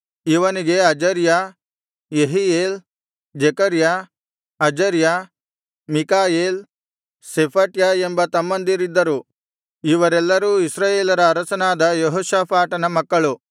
ಇವನಿಗೆ Azariah Jehiel Zechariah Azariah Michael Shephatiah ಎಂಬ ತಮ್ಮಂದಿರಿದ್ದರು ಇವರೆಲ್ಲರೂ ಇಸ್ರಾಯೇಲರ ಅರಸನಾದ ಯೆಹೋಷಾಫಾಟನ ಮಕ್ಕಳು